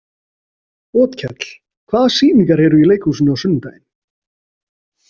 Otkell, hvaða sýningar eru í leikhúsinu á sunnudaginn?